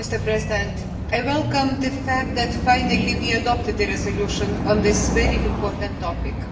Mr President, I welcome the fact that we have finally adopted the resolution on this very important topic.